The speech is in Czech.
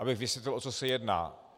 Abych vysvětlil, o co se jedná.